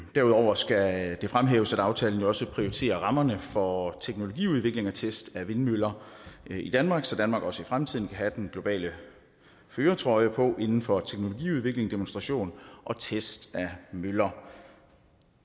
derudover skal det fremhæves at aftalen jo også prioriterer rammerne for teknologiudvikling og test af vindmøller i danmark så danmark også i fremtiden kan have den globale førertrøje på inden for teknologiudvikling demonstration og test af møller